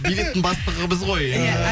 билеттің бастығы біз ғой